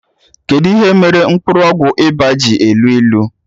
Kedụ ihe mere mkpụrụ ọgwụ ịba ji elu ilu?